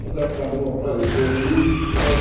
Mas acabou aparecendo isso. Eh